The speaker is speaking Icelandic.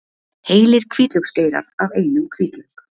Heilir hvítlauksgeirar af einum hvítlauk